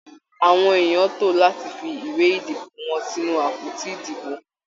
Àwọn èèyàn tó láti fi ìwé ìdìbò wọn sínú àpótí ìdìbò.